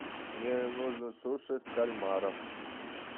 мне нужно суши с кальмаром